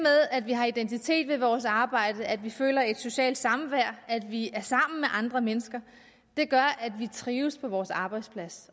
at vi har identitet ved vores arbejde at vi føler et socialt samvær at vi er sammen med andre mennesker gør at vi trives på vores arbejdsplads